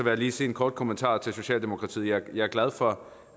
jeg lige sige en kort kommentar til socialdemokratiet jeg er glad for